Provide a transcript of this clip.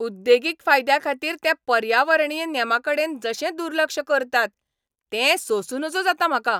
उद्देगीक फायद्याखातीर ते पर्यावरणीय नेमांकडेन जशें दुर्लक्ष करतात तें सोंसूं नजो जाता म्हाका.